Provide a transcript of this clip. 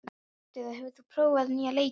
Ástheiður, hefur þú prófað nýja leikinn?